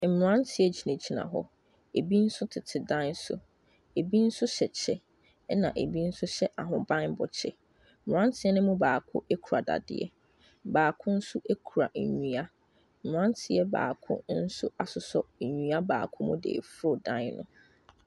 Mmranteɛ gyinagyina hɔ. Ebi tete dan so. Ebi nso hyɛ kyɛ na ebi nso hyɛ ahobanmmɔ kyɛ. Mmranteɛ no mu baako kura dadeɛ. Baako nso kura nnua. Mmranteɛ baako nso asosɔ nnua baako mu de reforo dan no.